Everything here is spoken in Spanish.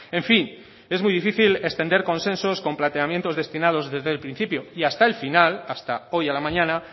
en fin es muy difícil extender consensos con planteamientos destinados desde el principio y hasta el final hasta hoy a la mañana